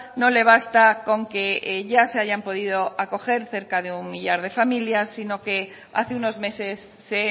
no le basta con que ya se hayan podido acoger cerca de un millar de familias sino que hace unos meses se